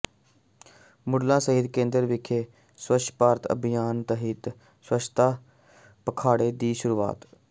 ਮੁੱਢਲਾ ਸਿਹਤ ਕੇਂਦਰ ਵਿਖੇ ਸੱਵਛ ਭਾਰਤ ਅਭਿਆਨ ਤਹਿਤ ਸੱਵਛਤਾ ਪਖਵਾੜੇ ਦੀ ਸ਼ੁਰੂਆਤ